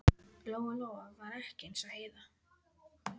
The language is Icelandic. Lóa-Lóa var ekki eins og Heiða